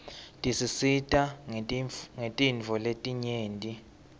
tisisita ngetintfo letinyeti